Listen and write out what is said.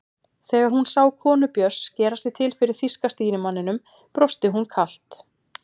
Þegar hún sá konu Björns gera sig til fyrir þýska stýrimanninum brosti hún kalt.